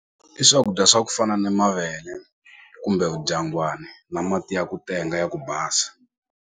I swakudya swa ku fana ni mavele kumbe vudyangwani na mati ya ku tenga ya ku basa.